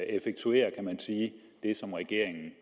effektuere det som regeringen